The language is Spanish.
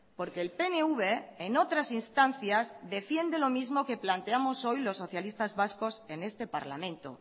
porque el pnv en otras instancias defiende los mismo que planteamos hoy los socialistas vascos en este parlamento